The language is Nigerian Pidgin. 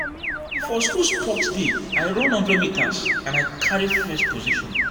For school sports day, I run one hundred meters and I carry first position.